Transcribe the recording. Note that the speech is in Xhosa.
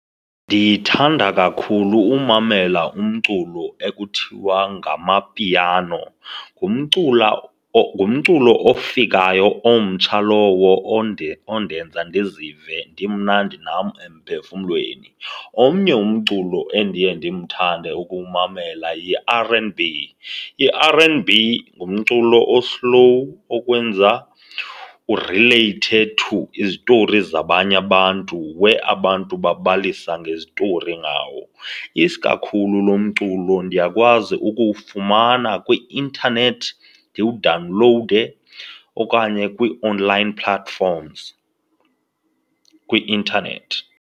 Ndithanda kakhulu umamela umculo ekuthiwa ngamapiano. Ngumculo ofikayo omtsha lowo ondenza ndizive ndimnandi nam emphefumlweni. Omnye umculo endiye ndimthande ukuwumamela yi-R_n_B. I-R_n_B ngumculo o-slow okwenza urileyithe to izitori zabanye abantu where abantu bebalisa ngezitori ngawo. Isikakhulu lo mculo ndiyakwazi ukuwufumana kwi-intanethi ndiwudawunlowude okanye kwii-online platforms kwi-intanethi.